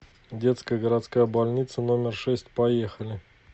детская городская больница номер шесть поехали